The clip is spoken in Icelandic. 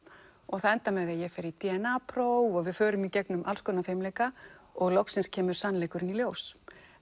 það endar með því að ég fer í d n a próf og við förum í gegnum alls konar fimleika og loks kemur sannleikurinn í ljós